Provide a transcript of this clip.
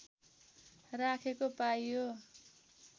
राखेको पाइयो